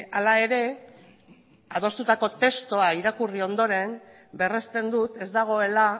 hala ere adostutako testua irakurri ondoren berresten dut ez dagoela